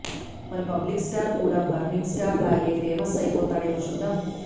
మరి public star కూడా burning star లాగే ఫేమస్ అయిపోతాడేమో చూద్దాం